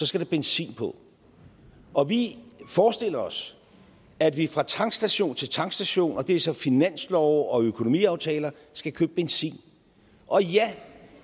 skal der benzin på og vi forestiller os at vi fra tankstation til tankstation og det er så finanslove og økonomiaftaler skal købe benzin og ja